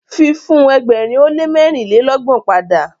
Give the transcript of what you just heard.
fi fun ẹgbẹrin o le mẹrinlelọgbọn pada.